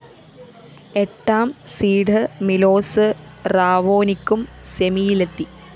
എട്ടാം seed Milos റാവോനിക്കും സെമിയിലെത്തി